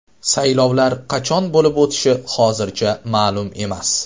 Saylovlar qachon bo‘lib o‘tishi hozircha ma’lum emas.